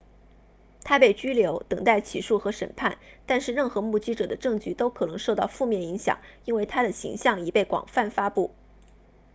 她被拘留等待起诉和审判但是任何目击者的证据都可能受到负面影响因为她的形象已被广泛发布